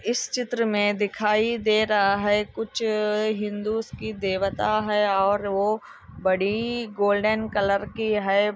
इस चित्र में दिखाई दे रहा है कुछ हिंदू की देवता है और वह बड़ी गोल्डन कलर की हे |